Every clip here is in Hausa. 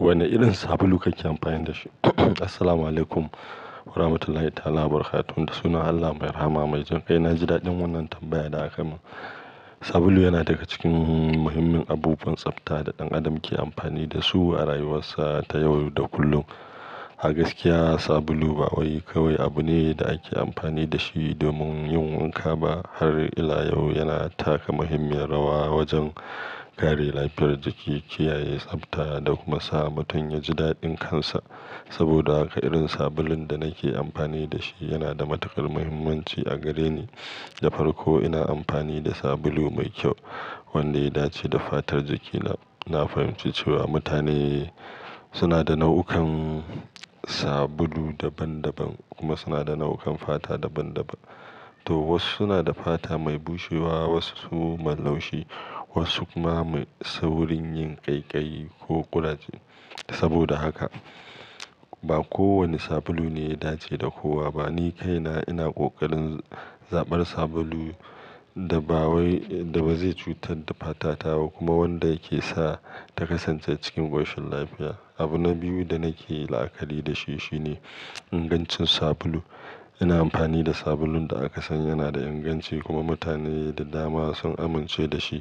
Wane irin sabulu kake amfani da shi? Assalamualaikum warahmatullahi ta'alabarkatuh. Da sunan Allah mai rahama mai jin ƙai, na ji daɗin wannan tambayar da aka yi mun. Sabulu yana daga cikin muhimmin abubuwan tsafta da ɗan adam ke amfani da su a rayuwarsa ta yau da kullum. A gaskiya, sabulu ba wai kawai abu ne da ake amfani da shi domin yin wanka ba, har ila yau yana taka muhimmiyar rawa wajen kare lafiyar jiki, kiyaye tsafta da kuma sa mutum ya ji daɗin kansa. Saboda haka, irin sabulun da nake amfani da shi yana da matuƙar muhimmanci a gare ni. Da farko, ina amfani da sabulu mai kyau wanda ya dace da fatar jikina. Na fahimci cewa mutane suna da nau'ukan sabulu daban-daban kuma suna da nau'ukan fata daban-daban. To wasu suna da fata mai bushewa, wasu su mai laushi, wasu kuma mai saurin yin ƙaiƙayi ko ƙuraje. Saboda haka, ba kowane sabulu ne ya dace da kowa ba. Ni kaina ina ƙoƙarin zaɓar sabulu da ba wai-- da ba zai cutar da fatata ba kuma wanda yake sa ta kasance cikin ƙoshin lafiya. Abu na biyu da nake la'akari da shi shine ingancin sabulu. Ina amfani da sabulun da aka san yana da inganci kuma mutane da dama sun amince da shi.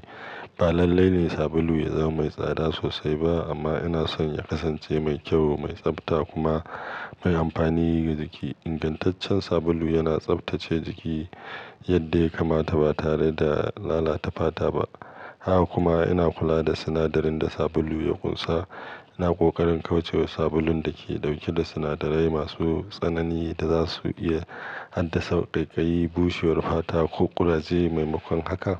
Ba lalle ne sabulu ya zama mai tsada sosai ba amma ina son ya kasance mai kyau, mai tsafta kuma mai amfani ga jiki. Ingantaccen sabulu yana tsaftace jiki yadda ya kamata ba tare da lalata fata ba. Haka kuma ina kula da sinadarin da sabulu ya ƙunsa. Ina ƙoƙarin kauce wa sabulun da ke ɗauke da sinadarai masu tsanani da za su iya haddasa ƙaiƙayi, bushewar fata ko ƙuraje maimakon haka.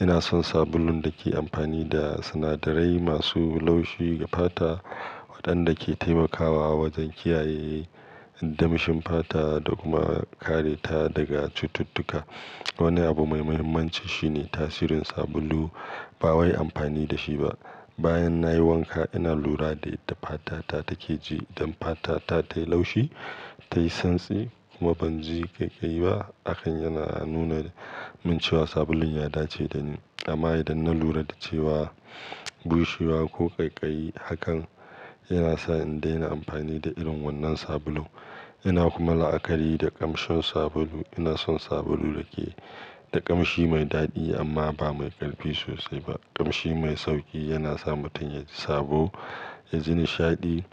Ina son sabulun da ke amfani da sinadarai masu laushi ga fata waɗanda ke taimakawa wajen kiyaye damshin fata da kuma kare ta daga cututtuka. Wani abu mai muhimmanci shine tasirin sabulu bawai amfani da shi ba. Bayan nayi wanka, ina lura da yadda fata ta take ji don fata ta tayi laushi, tayi santsi kuma ban ji ƙaiƙayi ba. Hakan yana nuna min cewa sabulun ya dace da ni. Amma idan na lura da cewa bushewa ko ƙaiƙayi hakan, yana sa in daina amfani da irin wannan sabulun. Ina kuma la'akari da ƙamshin sabulu. Ina son sabulu da ke da ƙamshi mai daɗi amma ba mai ƙarfi sosai ba. Ƙamshi mai sauƙi yana sa mutum ya ji sabo, ya ji nishaɗi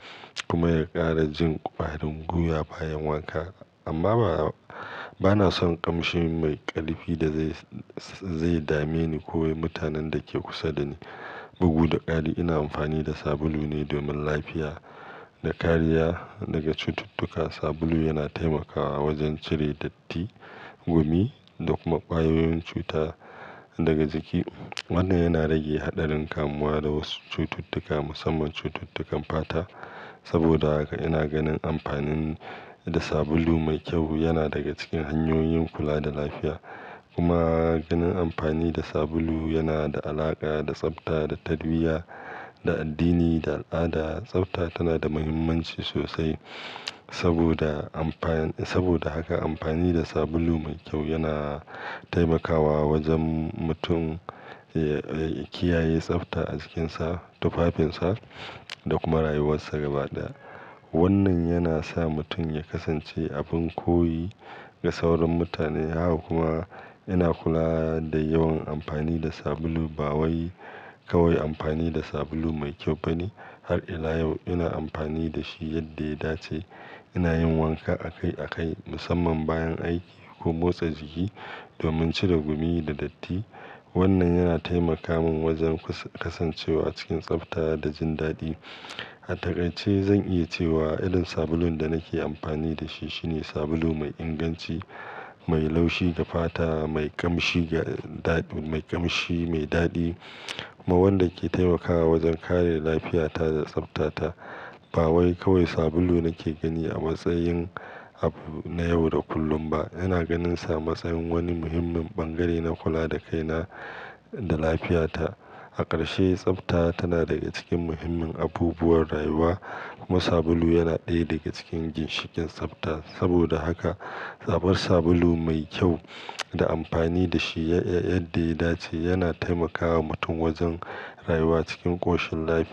kuma ya ƙara jin ƙwarin guya bayan wanka. Amma ba, ba na son ƙamshi mai ƙarfi da zai, zai dame ni ko mutanen da ke kusa da ni. Bugu da ƙari, ina amfani da sabulu ne domin lafiya da kariya daga cututtuka. Sabulu yana taimakawa wajen cire datti, gumi da kuma ƙwayoyin cuta daga jiki. Wannan yana rage haɗarin kamuwa da wasu cututtuka, musamman cututtukan fata. Saboda haka ina ganin amfani da sabulu mai kyau yana daga cikin hanyoyin kula da lafiya. Kuma ganin amfani da sabulu yana da alaƙa da tsafta da tarbiyya, da addini da al'ada. Tsafta tana da muhimmanci sosai saboda amfa-- saboda haka amfani da sabulu mai kyau yana taimakawa wajen mutum, eh, eh, kiyaye tsafta a jikinsa, tufafinsa da kuma rayuwarsa gaba ɗaya. Wannan yana sa mutum ya kasance abin koyi ga sauran mutane. Haka kuma ina kula da yawan amfani da sabulu. Ba wai kawai amfani da sabulu mai kyau bane. Har ila yau ina amfani da shi yadda ya dace. Ina yin wanka akai akai, musamman bayan aiki ko motsa jiki domin cire gumi da datti. Wannan yana taimaka mun wajen kasa-kasancewa cikin tsafta da jin daɗi. A takai ce zan iya cewa irin sabulun da nake amfani da shi shine sabulu mai inganci, mai laushi ga fata, mai ƙamshi ga daɗi-- mai ƙamshi mai daɗi kuma wanda ke taimakawa wajen kare lafiyata da tsaftata. Ba wai kawai sabulu nake gani a matsayin abu na yau da kullum ba, ina ganinsa a matsayin wani muhimmin bangare na kula da kaina da lafiyata. A ƙarshe, tsafta tana daga cikin muhimmin abubuwan rayuwa kuma sabulu yana ɗaya daga cikin ginshikin tsafta. Saboda haka, zaɓar sabulu mai kyau da amfani da shi ya-yadda ya dace yana taimakawa mutum wajen rayuwa cikin ƙoshin lafiya.